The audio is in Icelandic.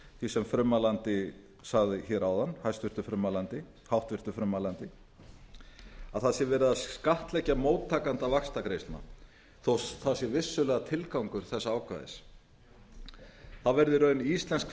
sem háttvirtur frummælandi sagði hér áðan að verið sé að skattleggja móttakanda vaxtagreiðslna þó að það sé vissulega tilgangur þessa ákvæðis það verða í raun íslensk